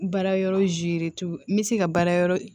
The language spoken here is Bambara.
Baara yɔrɔ n bɛ se ka baara yɔrɔ